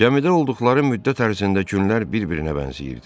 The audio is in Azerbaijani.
Gəmidə olduqları müddət ərzində günlər bir-birinə bənzəyirdi.